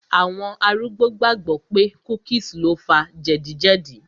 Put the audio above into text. Àwọn arúgbó gbàgbọ̀ pé cookies lo fa jẹ̀díjẹ̀dí